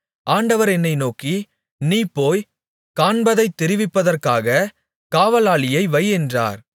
ஆண்டவர் என்னை நோக்கி நீ போய் காண்பதைத் தெரிவிப்பதற்காக காவலாளியை வை என்றார்